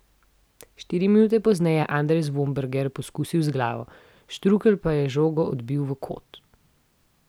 Štiri minute pozneje je Andres Vombergar poskusil z glavo, Štrukelj pa je žogo odbil v kot.